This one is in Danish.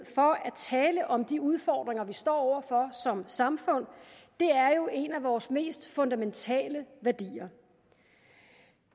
tale om de udfordringer vi står over for som samfund er jo en af vores mest fundamentale værdier